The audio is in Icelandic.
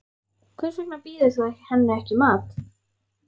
Hvers vegna býður þú henni ekki í mat.